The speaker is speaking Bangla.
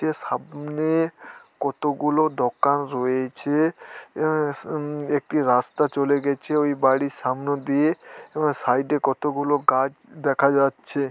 টে সামনে-এ কতগুলো দোকান রয়েছে-এ। এ স উম একটি রাস্তা চলে গেছে ওই বাড়ির সামনে দিয়ে এবং সাইড -এ কতগুলো গাছ দেখা যাচ্ছে।